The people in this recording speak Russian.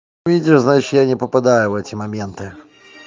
видимо значит я не попадаю в эти моменты